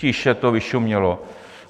Tiše to vyšumělo.